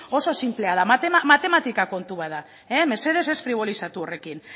oso sinplea da matematika kontu bat da mesedez ez fribolizatu horrekin